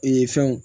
Ee fɛnw